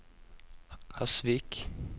Hasvik